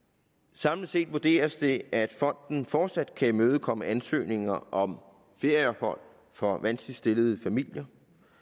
samlet set vurderes det at fonden fortsat kan imødekomme ansøgninger om ferieophold for vanskeligt stillede familier